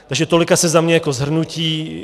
Takže tolik asi za mě jako shrnutí.